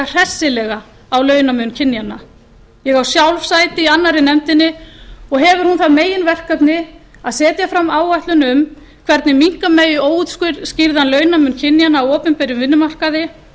hressilega á launamun kynjanna ég á sjálf sæti í annarri nefndinni og hefur hún það meginverkefni að setja fram áætlun um hvernig minnka megi óútskýrðan launamun kynjanna á opinberum vinnumarkaði